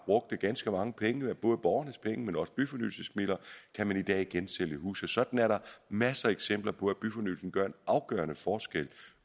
brugte ganske mange penge både borgernes penge men også byfornyelsesmidler i dag igen kan sælge huse sådan er der masser af eksempler på at byfornyelse gør en afgørende forskel